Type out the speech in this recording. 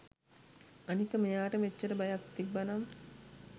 අනික මෙයාට මෙච්චර බයක් තිබ්බනම්